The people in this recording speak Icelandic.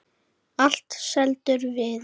Allt seldur viður.